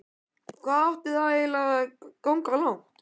Hvað átti þetta eiginlega að ganga langt?